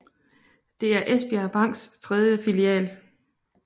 Det er Esbjergs Banks tredje filial